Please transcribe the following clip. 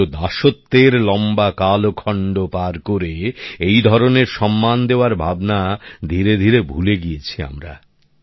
কিন্তু দাসত্বের লম্বা কালখণ্ড পার করে এই ধরনের সম্মান দেওয়ার ভাবনা ধীরে ধীরে ভুলে গিয়েছি আমরা